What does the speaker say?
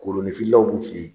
Koloninfilaw b'u f'i ye